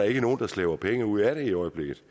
ikke nogen der slæber penge ud af det i øjeblikket